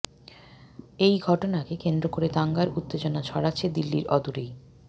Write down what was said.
এই ঘটনাকে কেন্দ্র করে দাঙ্গার উত্তেজনা ছড়াচ্ছে দিল্লির অদূরেই